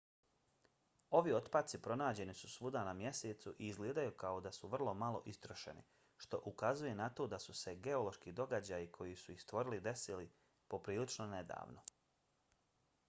ovi otpaci pronađeni su svuda na mjesecu i izgledaju kao da su vrlo malo istrošeni što ukazuje na to da su se geološki događaji koji su ih stvorili desili prilično nedavno